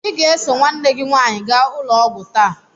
Ị ga-eso nwanne gị nwaanyị gaa ụlọ ọgwụ taa!